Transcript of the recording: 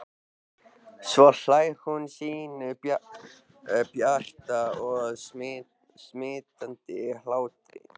Svo hlær hún sínum bjarta og smitandi hlátri.